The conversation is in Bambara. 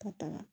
Ka tɛmɛ